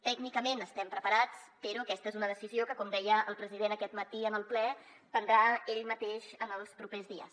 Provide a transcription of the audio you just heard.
tècnicament estem preparats però aquesta és una decisió que com deia el president aquest matí en el ple prendrà ell mateix els propers dies